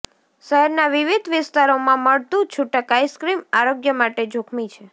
શહેરના વિવિધ વિસ્તારોમાં મળતું છુટક આઈસ્ક્રીમ આરોગ્ય માટે જોખમી છે